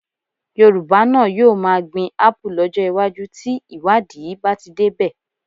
Yorùbá náà yóò máa gbin Ápù lọ́jọ́ iwájú tí ìwádìí bá ti débẹ̀